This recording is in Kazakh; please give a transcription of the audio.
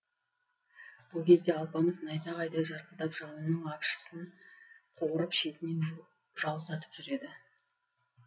бұл кезде алпамыс найзағайдай жарқылдап жауының апшысын қуырып шетінен жаусатып жүр еді